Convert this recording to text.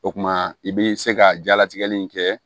O kumana i bi se ka jalatigɛli in kɛ